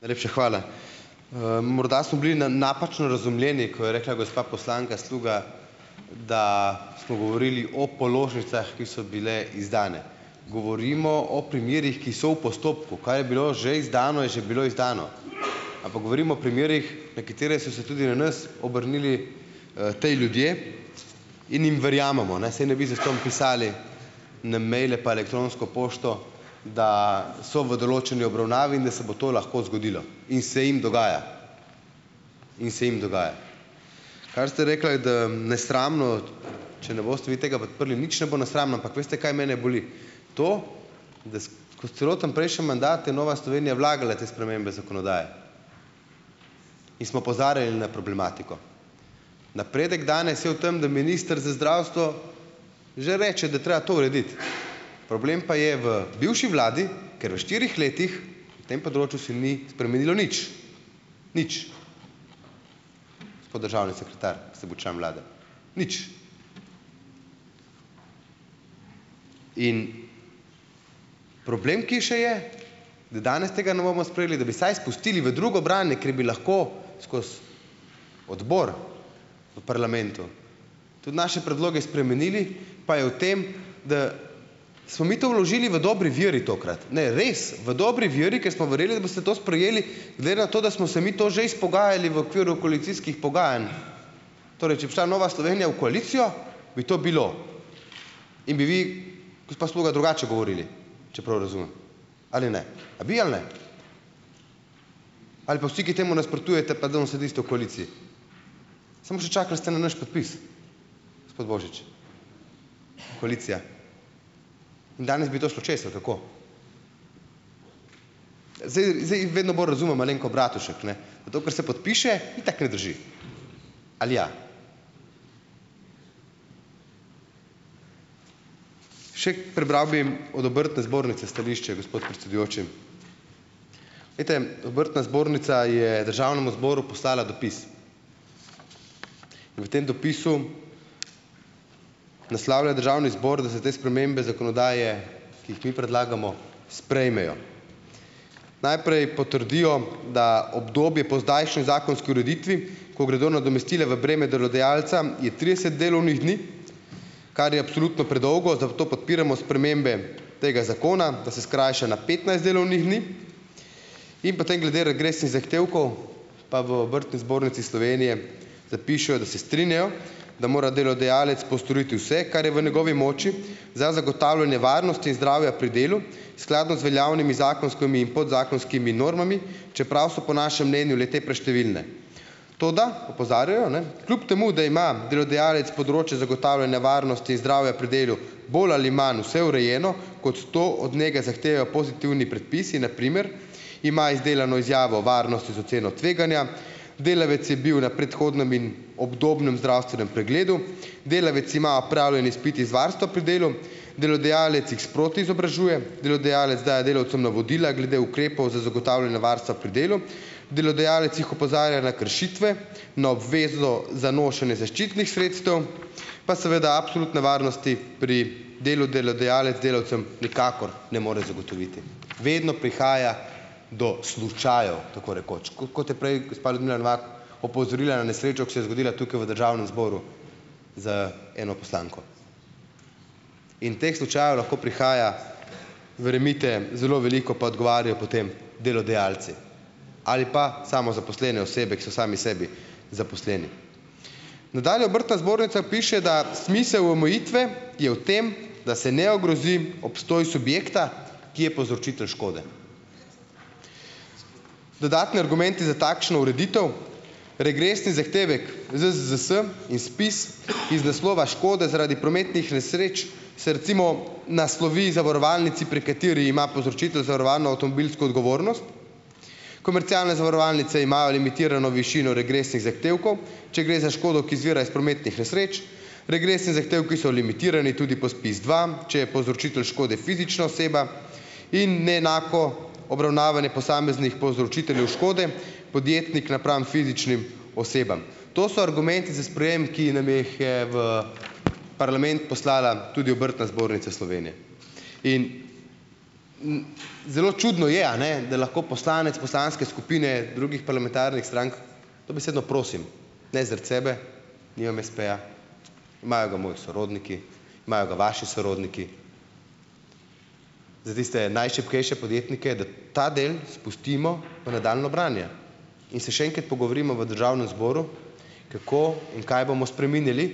Najlepša hvala, morda smo bili napačno razumljeni, ko je rekla gospa poslanka Sluga, da smo govorili o položnicah, ki so bile izdane, govorimo o primerih, ki so v postopku, kaj je bilo že izdano, je že bilo izdano, ampak govorimo o primerih, nekateri so se tudi na nas obrnili, ti ljudje, in jim verjamemo, ne, saj ne bi zastonj pisali na mejle pa elektronsko pošto, da so v določeni obravnavi in da se bo to lahko zgodilo in se jim dogaja, in se jim dogaja, kar ste rekla, je, da nesramno, če ne boste vi tega podprli, nič ne bo nesramno, ampak veste, kaj, mene boli to, celoten prejšnji mandat je Nova Slovenija vlagala te spremembe zakonodaje in smo opozarjali na problematiko, napredek danes je v tem, da minister za zdravstvo že reče, da je treba to urediti, problem pa je v bivši vladi, ker v štirih letih v tem področju se ni spremenilo nič, nič, tako državni sekretar, ko sem bil član vlade, nič, in problem, ki še je, da danes tega ne bomo sprejeli, da bi vsaj spustili v drugo branje, ker bi lahko skozi odbor v parlamentu tudi naše predloge spremenili, pa je v tem, da smo mi to vložili v dobri veri tokrat, ne, res v dobri veri, ker smo verjeli, da boste to sprejeli, glede na to, da smo se mi to že izpogajali v okviru koalicijskih pogajanj, torej če bi šla Nova Slovenija v koalicijo, bi to bilo in bi vi, gospa Sluga, drugače govorili, če prav razumem, ali ne a bi ali ne, ali pa vsi, ki temu nasprotujete pa danes sedite v koaliciji, samo še čakali ste na naš podpis, gospod Božič, koalicija, danes bi to šlo čez, ali kako. Zdaj, zdaj vedno bolj razumem Alenko Bratušek, ne, na to, kar so podpiše, itak ne drži, ali ja, še prebral bi od obrtne zbornice stališče, gospod predsedujoči, glejte, obrtna zbornica je državnemu zboru poslala dopis. V tem dopisu naslavlja državni zbor, da se te spremembe zakonodaje, ki jih mi predlagamo, sprejmejo, najprej potrdijo, da obdobje po zdajšnji zakonski ureditvi, ko gredo nadomestila v breme delodajalca je trideset delovnih dni, kar je absolutno predolgo, zato podpiramo spremembe tega zakona, da se skrajša na petnajst delovnih dni, in potem glede regresnih zahtevkov pa v obrtni zbornici Slovenije, da pišejo, da se strinjajo, da mora delodajalec postoriti vse, kar je v njegovi moči, za zagotavljanje varnosti in zdravja pri delu skladno z veljavnimi zakonskimi in podzakonskimi normami, čeprav so po našem mnenju le-te preštevilne, toda opozarjajo, ne, kljub temu da ima delodajalec področje zagotavljanja varnosti in zdravja pri delu bolj ali manj vse urejeno, kot to od njega zahtevajo pozitivni predpisi, na primer ima izdelano izjavo varnosti z oceno tveganja, delavec je bil na predhodnem in obdobnem zdravstvenem pregledu, delavec ima opravljen izpit iz varstva pri delu, delodajalec jih sproti izobražuje, delodajalec daje delavcem navodila glede ukrepov za zagotavljanje varstva pri delu, delodajalec jih opozarja na kršitve, na obvezo za nošenje zaščitnih sredstev, pa seveda absolutne varnosti pri delu delodajalec delavcem nikakor ne more zagotoviti, vedno prihaja do slučajev, tako rekoč, kot, kot je prej gospa Ljudmila Novak opozorila na nesrečo, ki se je zgodila tukaj v državnem zboru z eno poslanko, in teh slučajev lahko prihaja, verjemite, zelo veliko pa odgovarjajo potem delodajalci ali pa samozaposlene osebe, ki so sami sebi zaposleni. Nadalje obrtna zbornica piše, da smisel v omejitve je v tem, da se ne ogrozi obstoj subjekta, ki je povzročitelj škode. Dodatni argumenti za takšno ureditev regresni zahtevek ZZZS in SPIZ iz naslova škode zaradi prometnih nesreč se recimo naslovi zavarovalnici, pri kateri ima povzročitelj zavarovano avtomobilsko odgovornost, komercialne zavarovalnice imajo limitirano višino regresnih zahtevkov, če gre za škodo, ki izvira iz prometnih nesreč, regresni zahtevki so limitirani tudi po SPIZ dva, če je povzročitelj škode fizična oseba, in ne enako obravnavanje posameznih povzročiteljev škode podjetnih napram fizičnim osebam, to so argumenti za sprejem, ki nam jih je v parlament poslala tudi obrtna zbornica Slovenije, in zelo čudno je, a ne, da lahko poslanec poslanske skupine drugih parlamentarnih strank dobesedno prosim, ne zaradi sebe nimam espeja, imajo ga moji sorodniki, imajo ga vaši sorodniki, zdaj tiste najšibkejše podjetnike, ta del spustimo v nadaljnje branje, in se še enkrat pogovorimo v državnem zboru, kako in kaj bomo spreminjali,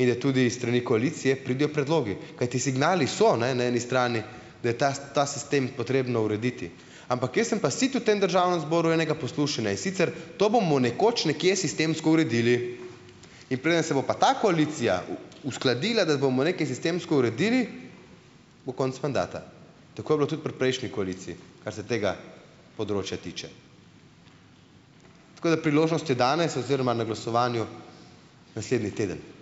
in je tudi iz strani koalicije pridejo predlogi, kajti signali so, ne, na eni strani, da je ta ta sistem potrebno urediti, ampak jaz sem pa sit v tem državnem zboru enega poslušanja, in sicer: "To bomo nekoč nekje sistemsko uredili, in preden se bo pa ta koalicija uskladila, da bomo nekaj sistemsko uredili, bo konec mandata." Tako je bilo tudi pri prejšnji koaliciji, kar se tega področja tiče, tako da priložnost je dana in se oziroma na glasovanju naslednji teden ...